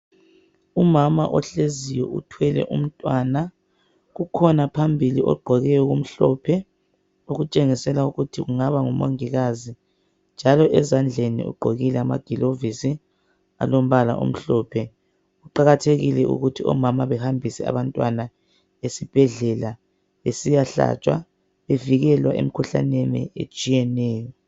Umama ohleziyo uthwele umntwana . Kukhona phambili ogqoke okumhlophe okutshengisela ukuthi kungaba ngu Mongikazi njalo ezandleni ugqokile amaglovisi alombala omhlophe . Kuqakathekile ukuthi omama behambise abantwana esibhedlela besiyahlatshwa bevikelwa emikhuhlaneni etshiyeneyo.